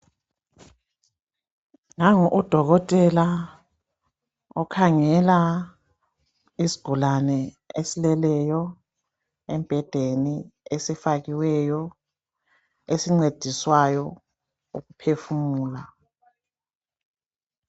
Nangu udokotela okhangela isigulane esileleyo embhedeni esifakiweyo esincediswayo ukuphefumula .